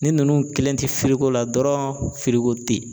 Ni nunnu kelen ti la dɔrɔn tɛ yen.